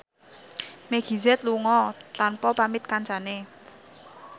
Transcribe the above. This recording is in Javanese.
Meggie Z lunga tanpa pamit kancane